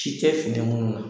Ci tɛ fini munnu na